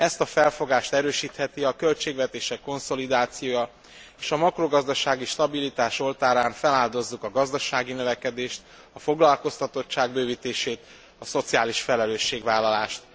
Ezt a felfogást erősítheti a költségvetések konszolidációja, s a makrogazdasági stabilitás oltárán feláldozzuk a gazdasági növekedést, a foglalkoztatottság bővítését, a szociális felelősségvállalást.